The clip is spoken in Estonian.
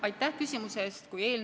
Aitäh küsimuse eest!